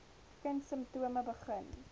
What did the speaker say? kind simptome begin